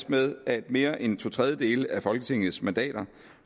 med at mere end to tredjedele af folketingets mandater